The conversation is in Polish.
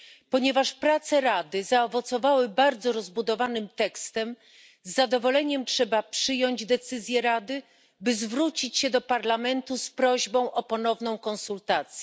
Ponieważ prace Rady zaowocowały bardzo rozbudowanym tekstem, z zadowoleniem trzeba przyjąć decyzję Rady, by zwrócić się do Parlamentu z prośbą o ponowną konsultację.